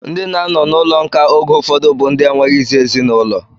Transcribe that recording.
Ndị na-anọ n'ụlọ nkà oge ụfọdụ bụ ndị enweghịzi ezinụlọ